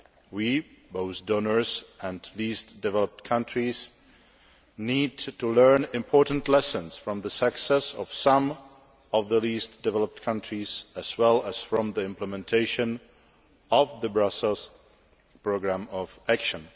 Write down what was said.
We, both donors and least developed countries, need to learn important lessons from the success of some of the least developed countries, as well as from the implementation of the Brussels Programme of Action.